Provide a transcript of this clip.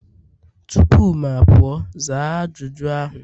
tupu m apụọ, zaa ajụjụ ahụ!